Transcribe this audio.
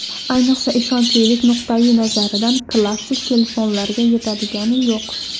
Ayniqsa ishonchlilik nuqtai nazaridan klassik telefonlarga yetadigani yo‘q.